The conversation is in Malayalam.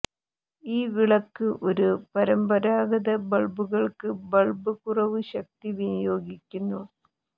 ഈ വിളക്ക് ഒരു പരമ്പരാഗത ബൾബുകൾക്ക് ബൾബ് കുറവ് ശക്തി വിനിയോഗിക്കുന്നു